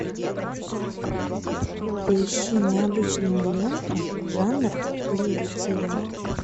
поищи необычную ленту жанр лекция